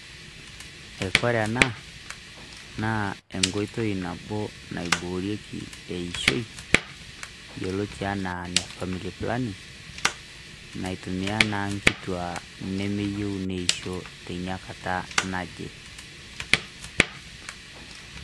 Ekore ena naa enkoito naboo naiboreki eishoi, iyeloo etii enaa ne family planning naitumia naa nkituaa nemeyeu neishoo tenia nkataa naje.